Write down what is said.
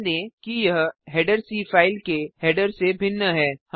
ध्यान दें कि यह हेडर सी फाइल के हेडर से भिन्न है